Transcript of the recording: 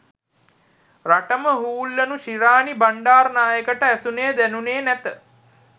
රටම හූල්ලනු ශිරාණි බණ්ඩාරනායකට ඇසුණේ දැනුණේ නැත